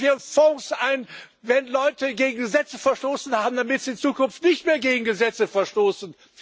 Wir führen Fonds ein, wenn Leute gegen Gesetze verstoßen haben, damit sie in Zukunft nicht mehr gegen Gesetze verstoßen.